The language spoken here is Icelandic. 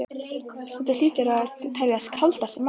Þetta hlýtur að teljast kaldasti maí